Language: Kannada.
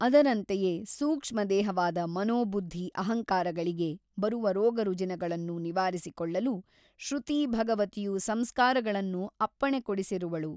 ಅದರಂತೆಯೇ ಸೂಕ್ಷ್ಮದೇಹವಾದ ಮನೋಬುದ್ಧಿ ಅಹಂಕಾರಗಳಿಗೆ ಬರುವ ರೋಗರುಜಿನಗಳನ್ನು ನಿವಾರಿಸಿಕೊಳ್ಳಲು ಶ್ರುತೀ ಭಗವತಿಯು ಸಂಸ್ಕಾರಗಳನ್ನು ಅಪ್ಪಣೆಕೊಡಿಸಿರುವಳು.